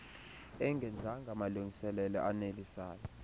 engenzanga malungiselelo anelisayo